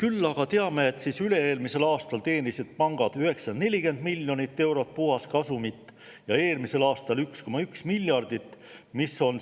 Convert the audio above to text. Küll me aga teame, et üle-eelmisel aastal teenisid pangad 940 miljonit eurot puhaskasumit ja eelmisel aastal 1,1 miljardit, mis on